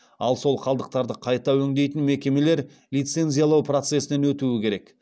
ал сол қалдықтарды қайта өңдейтін мекемелер лицензиялау процесінен өтуі керек